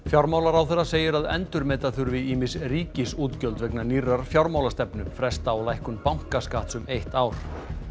fjármálaráðherra segir að endurmeta þurfi ýmis ríkisútgjöld vegna nýrrar fjármálastefnu fresta á lækkun bankaskatts um eitt ár